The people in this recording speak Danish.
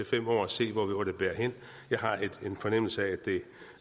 fem år og se hvor det bærer hen jeg har en fornemmelse af